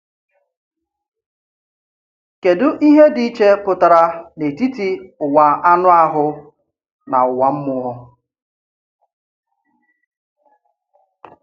Kèdụ ihe dị iche pụtara n’etiti ụwa anụ ahụ na ụwa mmụọ?